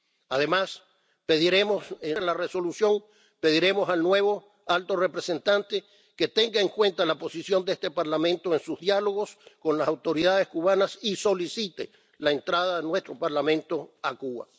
Además de la Resolución, pediremos al nuevo alto representante que tenga en cuenta la posición de este Parlamento en sus diálogos con las autoridades cubanas y solicite la entrada de nuestro Parlamento a Cuba.